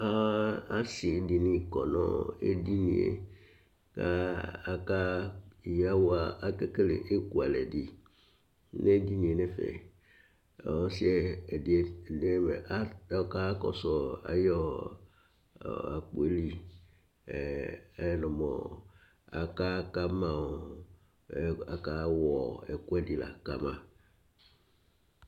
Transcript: Asi dìní kɔ nʋ edini ye Aka kele ɛkʋalɛ di nʋ edini ye nʋ ɛfɛ kʋ ɔsi ɛdí ɔkakɔsu ayʋ akpo ye li Aka wɔ ɛkʋɛdi la kama